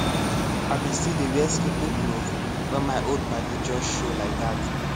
i been still dey wear sleepin cloth wen my old padi jus show laidat